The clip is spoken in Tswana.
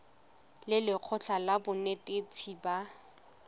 le lekgotlha la banetetshi ba